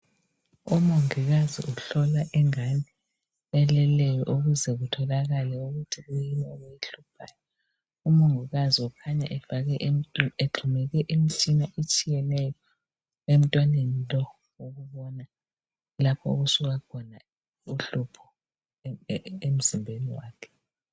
Umongikazi uhlola ingane eleleyo ukuze kutholakale ukuthi kuyini okuyihluphayo .Umongikazi ukhanya egxumeke imitshina etshiyeneyo emntwaneni lowu ukubona lapho okusuka khona uhlupho emzimbeni wakhe